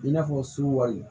I n'a fɔ suwa